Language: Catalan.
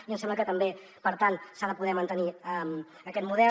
i ens sembla que també per tant s’ha de poder mantenir aquest model